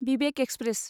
Vivek express